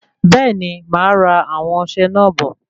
Bẹẹni, máa ra àwọn ọsẹ náà bò